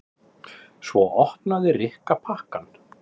Svo opnaði Rikka pakkann.